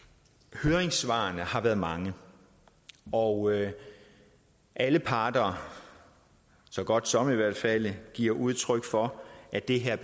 høringssvarene har været mange og alle parter så godt som i hvert fald giver udtryk for at det her